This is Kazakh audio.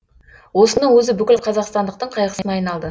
осының өзі бүкіл қазақстандықтың қайғысына айналды